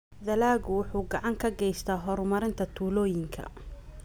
Dalaggu wuxuu gacan ka geystaa horumarinta tuulooyinka.